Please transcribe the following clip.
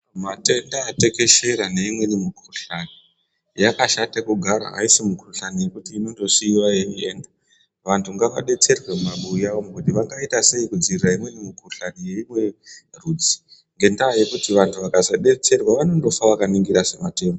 Matenda atekeshera neimweni mikuhlani, yakashata kugara haisi mikuhlani yekuti inondosiiva yeienda. Vantu ngavabetserwe mumabuya umu kuti vangaita sei kudzirira imweni mikuhlani yeimwe rudzi. Ngendaa yekuti vantu vakazobetserwa vanondofa vakaningira sematemba.